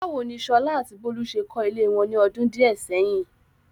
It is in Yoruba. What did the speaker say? Báwo ni Sola àti Bolu ṣe kọ́ ilé wọn ní ọdún díẹ̀ sẹ́yìn?